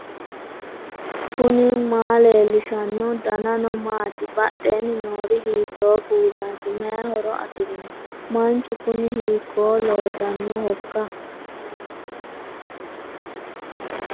knuni maa leellishanno ? danano maati ? badheenni noori hiitto kuulaati ? mayi horo afirino ? manchu kuni hiikko loosannohoikka